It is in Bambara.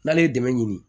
N'ale ye dɛmɛ ɲini